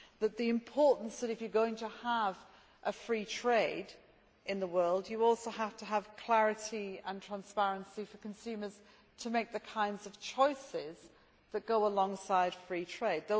It is important that, if you are going to have free trade in the world, you also have to have clarity and transparency for consumers to make the kinds of choices that go alongside free trade.